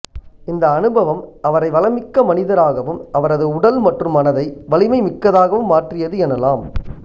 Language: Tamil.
இந்த அனுபவம் அவரை வளமிக்க மனிதராகவும் அவரது உடல் மற்றும் மனதை வலிமை மிக்கதாகவும் மாற்றியது எனலாம்